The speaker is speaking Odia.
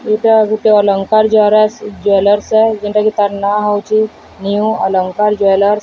ଏଇଟା ଗୁଟେ ଅଲଙ୍କାର ଜ୍ୱାରାସା ଜ୍ୱଲାରସା ଯୋଉଟାକି ତାର ନା ହେଉଚି ନିଉ ଅଳଙ୍କାର ଜୁଏଲର୍ସ ।